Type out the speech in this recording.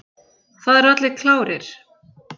Það eru allir klárir.